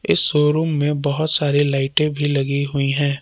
इस शोरूम में बहोत सारी लाइटें भी लगी हुई हैं।